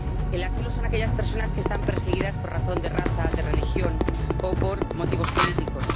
Los demandantes de asilo son aquellas personas que están perseguidas por razón de raza, de religión, o por motivos políticos.